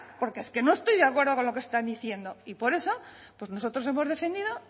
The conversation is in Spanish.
porque es que no estoy de acuerdo con lo que están diciendo y por eso pues nosotros hemos defendido